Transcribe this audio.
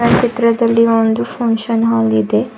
ಚಿತ್ರದಲ್ಲಿ ಒಂದು function hall ಇದೆ.